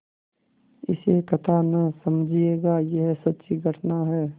इसे कथा न समझिएगा यह सच्ची घटना है